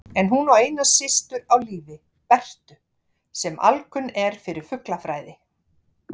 En hún á eina systur á lífi, Bertu, sem alkunn er fyrir fuglafræði.